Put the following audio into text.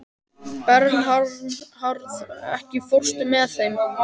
Bernharð, ekki fórstu með þeim?